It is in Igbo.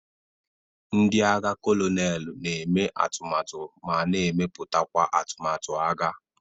Ndị agha kolonelu na eme atụmatụ ma na emeputakwa atụmatụ agha.